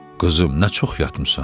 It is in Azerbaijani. Qızım, nə çox yatmısan?